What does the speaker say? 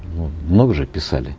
ну много же писали